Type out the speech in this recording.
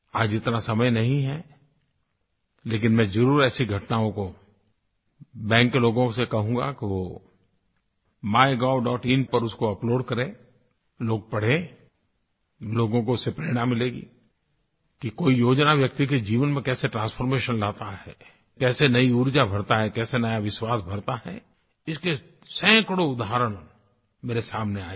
आज इतना समय नहीं है लेकिन मैं ज़रूर ऐसी घटनाओं को बैंक के लोगों से कहूँगा कि वो MyGovइन पर उसको अपलोड करें लोग पढ़ें लोगों को उससे प्रेरणा मिलेगी कि कोई योजना व्यक्ति के जीवन में कैसे ट्रांसफॉर्मेशन लाता है कैसे नयी ऊर्जा भरता है कैसे नया विश्वास भरता है इसके सैकड़ों उदाहरण मेरे सामने आये हैं